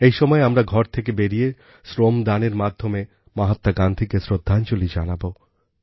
এই সময়ে আমরা ঘর থেকে বেরিয়ে শ্রমদানের মাধ্যমে মহাত্মা গান্ধীকে শ্রদ্ধাঞ্জলি জানাব